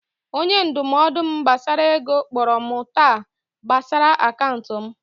Onye ndụmọdụ m gbasara ego kpọrọ m taa gbasara akaụntụ m